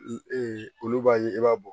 olu b'a ye i b'a bɔ